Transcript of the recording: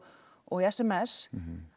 og í s m s